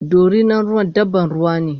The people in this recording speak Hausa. Dorinan ruwa dabban ruwane